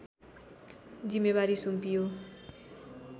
जिम्मेवारी सुम्पियो